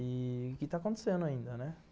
E que está acontecendo ainda, né?